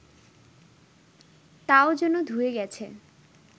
তাও যেন ধুয়ে গেছে